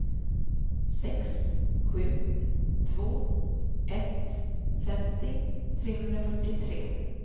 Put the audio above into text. sex sju två ett femtio trehundrafyrtiotre